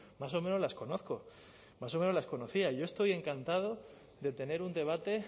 más o menos las conozco más o menos las conocía yo estoy encantado de tener un debate